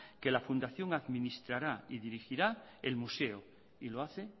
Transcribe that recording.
que la fundación administrará y dirigirá el museo y lo hace